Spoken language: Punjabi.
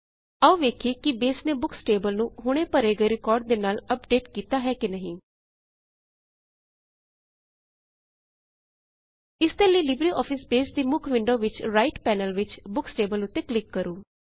ਆਓ ਵੇਖਿਏ ਕੀ ਬੇਸ ਨੇ ਬੁਕਸ ਟੇਬਲ ਨੂੰ ਹੁਣੇ ਭਰੇ ਗਏ ਰਿਕਾਰਡ ਦੇ ਨਾਲ ਅਪਡੇਟ ਕੀਤਾ ਹੈ ਕੀ ਨਹੀਂ ਇਸਦੇ ਲਈ ਲਿਬਰੇਆਫਿਸ ਬੇਸ ਦੀ ਮੁੱਖ ਵਿੰਡੋ ਵਿਚ ਰਾਇਟ ਪੈਨਲ ਵਿੱਚ ਬੁੱਕਸ ਟੇਬਲ ਉੱਤੇ ਡਬਲ ਕਲਿਕ ਕਰੋ